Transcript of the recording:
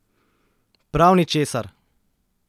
Prav ničesar!